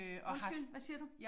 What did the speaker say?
Undskyld hvad siger du?